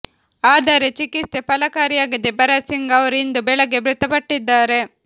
ಆದರೆ ಚಿಕಿತ್ಸೆ ಫಲಕಾರಿಯಾಗದೇ ಭರತ್ ಸಿಂಗ್ ಅವರು ಇಂದು ಬೆಳಗ್ಗೆ ಮೃತಪಟ್ಟಿದ್ದಾರೆ